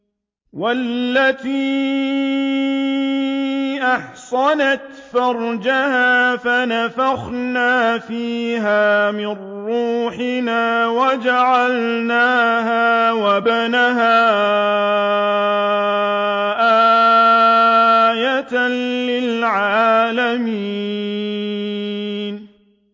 وَالَّتِي أَحْصَنَتْ فَرْجَهَا فَنَفَخْنَا فِيهَا مِن رُّوحِنَا وَجَعَلْنَاهَا وَابْنَهَا آيَةً لِّلْعَالَمِينَ